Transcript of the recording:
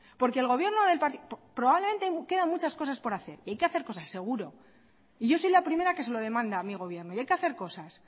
porque el gobierno del partido probablemente quedan muchas cosas por hacer y hay que hacer cosas seguro y yo soy la primera que se lo demanda a mi gobierno y hay que hacer cosas